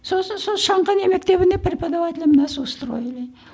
сосын сол шанқанай мектебіне преподавателем нас устроили